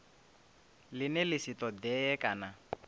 ḽine ḽa si ṱoḓee kana